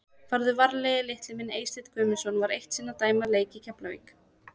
Farðu varlega litli minn Eysteinn Guðmundsson var eitt sinn að dæma leik í Keflavík.